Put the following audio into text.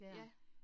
Ja